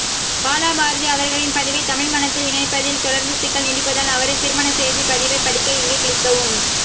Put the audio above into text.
பாலபாரதி அவர்களின் பதிவை தமிழ்மணத்தில் இணைப்பதில் தொடர்ந்து சிக்கல் நீடிப்பதால் அவரின் திருமண செய்ததி பதிவை படிக்க இங்கே கிளிக்கவும்